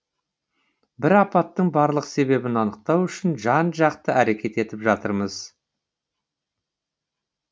бір апаттың барлық себебін анықтау үшін жан жақты әрекет етіп жатырмыз